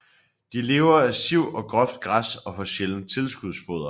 De lever af siv og groft græs og får sjældent tilskudsfoder